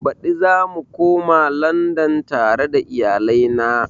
Baɗi zamu koma landan tare da iyalai na